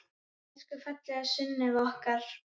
Elsku fallega Sunneva okkar.